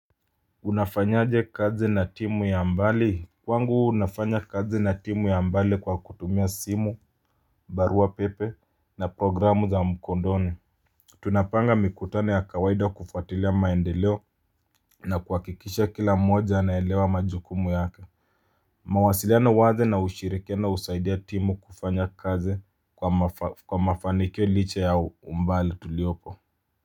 Unafanyaje kazi na timu ya mbali. Kwangu nafanya kazi na timu ya mbali kwa kutumia simu, barua pepe na programu za mkondoni. Tunapanga mikutano ya kawaida kufuatilia maendeleo na kuhakikisha kila mmoja anaelewa majukumu yake. Mawasiliano wazi na ushirikiano husaidia timu kufanya kazi kwa mafanikio liche ya umbali tuliopo.